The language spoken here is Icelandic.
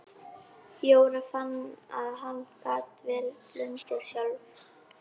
Jóra fann að hún gat vel blundað sjálf.